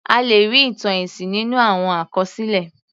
A lè rí ìtàn ẹ̀sìn nínú àwọn àkọsílẹ̀.